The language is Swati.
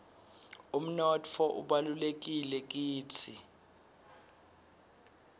umnotfo ubalulekile kitsi